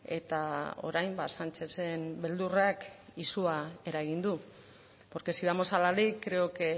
eta orain ba sánchezen beldurrak izua eragin du porque si vamos a la ley creo que